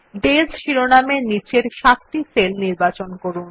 ডেস শিরোনামের নীচের সাতটি সেল নির্বাচন করুন